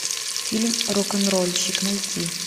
фильм рок н рольщик найти